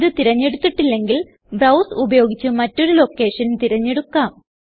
ഇത് തിരഞ്ഞെടുത്തിട്ടില്ലെങ്കിൽ ബ്രൌസ് ഉപയോഗിച്ച് മറ്റൊരു ലോക്കേഷൻ തിരഞ്ഞെടുക്കാം